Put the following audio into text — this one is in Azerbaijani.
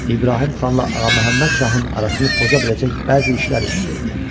İbrahim xanla Ağaməhəmməd şahın arasını poza biləcək bəzi işlər üzə verdi.